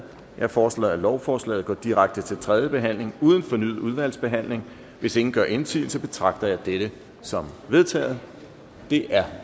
jeg foreslår at lovforslaget går direkte til tredje behandling uden fornyet udvalgsbehandling hvis ingen gør indsigelse betragter jeg dette som vedtaget det er